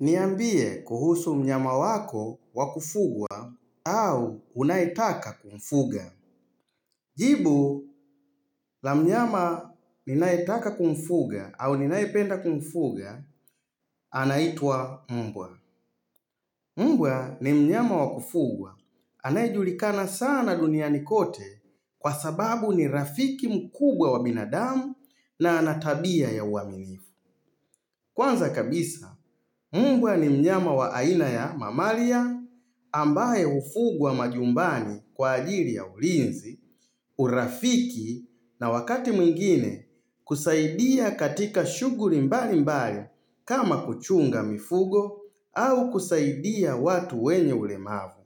Niambie kuhusu mnyama wako wakufugwa au unaetaka kumfuga. Jibu la mnyama ninaetaka kumfuga au ninaipenda kumfuga anaitwa mbwa mbwa ni mnyama wakufugwa anaejulikana sana duniani kote kwa sababu ni rafiki mkubwa wa binadamu na anatabia ya uaminifu. Kwanza kabisa, mbwa ni mnyama wa aina ya mamalia ah ambae ufugwa wa majumbani kwa ajiri ya ulinzi, urafiki na wakati mwingine kusaidia katika shuguri mbali mbali kama kuchunga mifugo au kusaidia watu wenye ulemavu.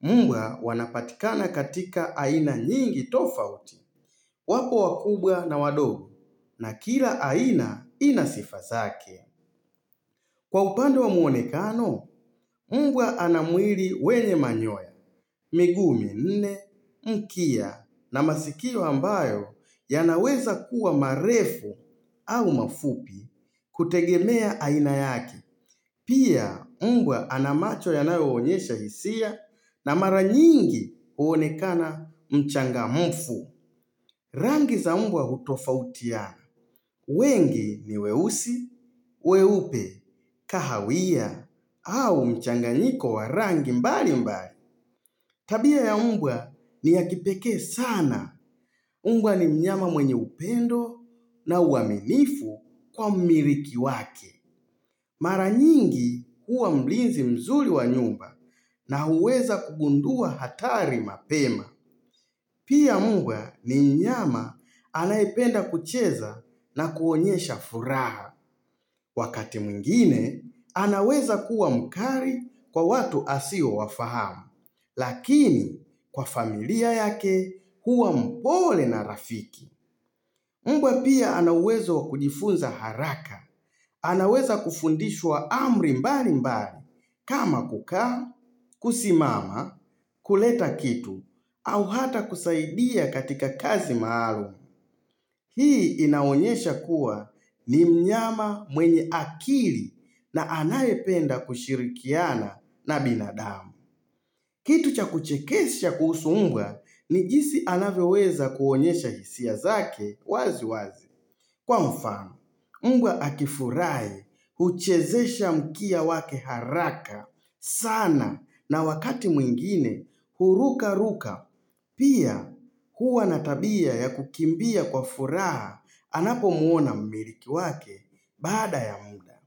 Mh Mbwa wanapatikana katika aina nyingi tofauti, wapo wakubwa na wadogu na kila aina inasifazake. Kwa upande wa muonekano, mbwa ana mwiri wenye manyoya, miguu minne mkia na masikio ambayo yanaweza kuwa marefu au mafupi kutegemea aina yake. Pia mbwa ana macho yanayo onyesha hisia na mara nyingi uonekana mchanga mfu. Rr Rangi za mbwa hutofautiana. Ugh wengi ni weusi, weupe, kahawia, au mchanganyiko wa rangi mbali mbali. Tabia ya mbwa ni ya kipekee sana. Mbwa ni mnyama mwenye upendo na uwaminifu kwa mmiriki wake. Mara nyingi huwa mlinzi mzuli wa nyumba na huweza kugundua hatari mapema. Pia mbwa ni mnyama anaependa kucheza na kuonyesha furaha. Wakati mwingine, anaweza kuwa mkari kwa watu asio wafahamu, lakini kwa familia yake huwa mpole na rafiki. Mb Mbwa pia anauwezo wakujifunza haraka, anaweza kufundishwa amri mbali mbali, kama kukaa, kusimama, kuleta kitu, au hata kusaidia katika kazi maalum. Mh Hii inaonyesha kuwa ni mnyama mwenye akili na anaye penda kushirikiana na binadamu. Kitu cha kuchekesha kuhusu mbwa ni jinsi anavyoweza kuonyesha hisia zake wazi wazi. Hh Kwa mfano, mbwa akifurai uchezesha mkia wake haraka sana na wakati mwingine huruka ruka. Pia huwa natabia ya kukimbia kwa furaha anapo muona mmiliki wake baada ya muda.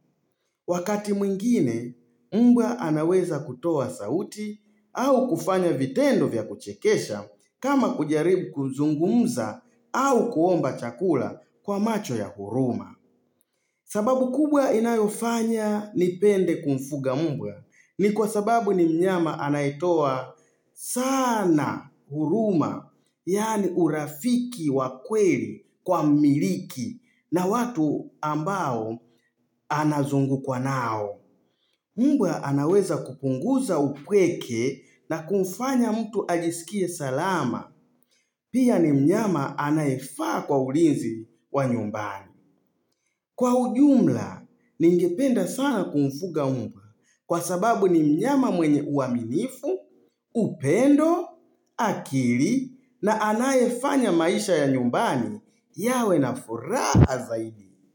Wakati mwingine, mbwa anaweza kutoa sauti au kufanya vitendo vya kuchekesha kama kujaribu kuzungumza au kuomba chakula kwa macho ya huruma. Mm hh sababu kubwa inayofanya nipende kumfuga mbwa ni kwa sababu ni mnyama anaetoa saana huruma yani urafiki wakweli kwa mmiliki na watu ambao anazungukwa nao.hh Mbwa anaweza kupunguza upweke na kumfanya mtu ajisikie salama pia ni mnyama anae faa kwa ulinzi wa nyumbani. Mm hh Kwa ujumla, ningependa sana kumfuga mbwa kwa sababu ni mnyama mwenye uaminifu, upendo, akili na anayefanya maisha ya nyumbani yawe na furaha zaidi.